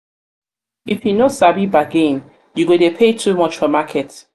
if you no sabi bargain you go dey pay too much for market.